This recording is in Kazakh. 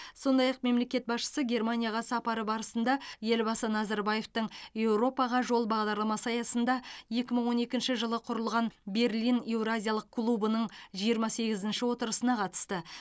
сондай ақ мемлекет басшысы германияға сапары барысында елбасы назарбаевтың еуропаға жол бағдарламасы аясында екі мың он екінші жылы құрылған берлин еуразиялық клубының жиырма сегізінші отырысына қатысты